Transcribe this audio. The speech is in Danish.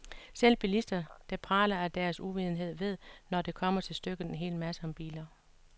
Selv bilister, der praler af deres uvidenhed, ved, når det kommer til stykket, en hel masse om biler.